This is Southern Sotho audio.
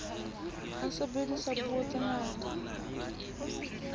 ha sebediswa puo tse fetang